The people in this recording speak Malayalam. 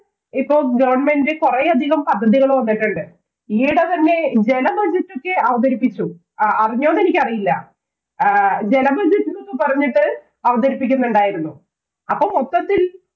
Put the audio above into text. ഇപ്പം government കൊറേയധികം പദ്ധതികള്‍ വന്നിട്ടുണ്ട്. ഈയിടെ തന്നെ ജല budget ഒക്കെ അവതരിപ്പിച്ചു. അറിഞ്ഞോ ന്ന് എനിക്കറിയില്ല. ആഹ് ജല budget എന്നൊക്കെ പറഞ്ഞിട്ട് അവതരിപ്പിക്കുന്നുണ്ടായിരുന്നു. അപ്പൊ മൊത്തത്തില്‍